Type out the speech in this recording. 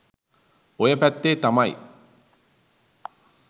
ඔය පැත්තෙ තමයි